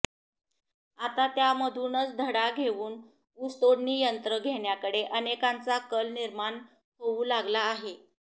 आता त्यामधूनच धडा घेऊन ऊसतोडणी यंत्र घेण्याकडे अनेकांचा कल निर्माण होऊ लागला आहे